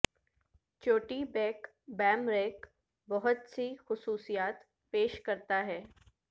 چوٹی بیک بیم ریک بہت سے خصوصیات پیش کرتا ہے